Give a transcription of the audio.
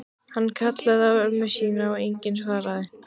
Hann kallaði á ömmu sína en enginn svaraði.